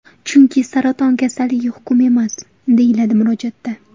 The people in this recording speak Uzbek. Chunki saraton kasalligi hukm emas”, deyiladi murojaatda.